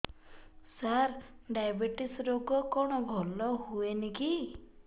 ସାର diabetes ରୋଗ କଣ ଭଲ ହୁଏନି କି